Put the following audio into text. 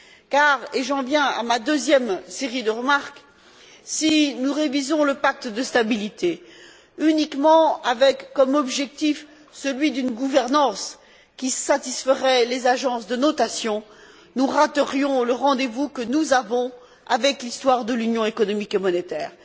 Car et j'en viens à ma deuxième série de remarques si nous révisons le pacte de stabilité avec pour seul objectif celui d'une gouvernance qui satisferait les agences de notation, nous raterions le rendez vous que nous avons avec l'histoire de l'Union économique et monétaire.